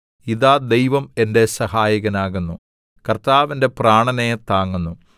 ഇതാ ദൈവം എന്റെ സഹായകനാകുന്നു കർത്താവ് എന്റെ പ്രാണനെ താങ്ങുന്നു